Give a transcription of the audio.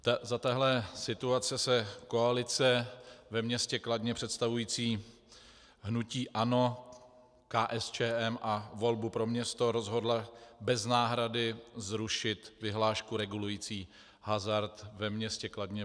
Za téhle situace se koalice ve městě Kladno, představující hnutí ANO, KSČM a Volbu pro město, rozhodla bez náhrady zrušit vyhlášku regulující hazard ve městě Kladno.